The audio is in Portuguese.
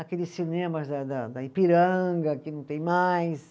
Aqueles cinemas da da, da Ipiranga, que não tem mais.